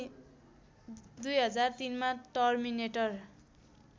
२००३ मा टर्मिनेटर